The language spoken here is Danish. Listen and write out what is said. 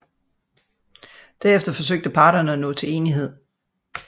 Derefter forsøgte parterne at nå til enighed